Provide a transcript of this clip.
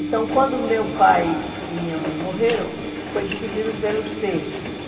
Então, quando meu pai e minha mãe morreram, foi dividido pelos seis.